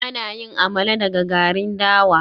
Ana yin Amala daga garin dawa